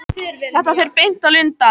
Þetta fer beint á Lundann.